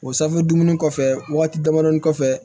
O safunɛ dumuni kɔfɛ waati damadɔnin kɔfɛ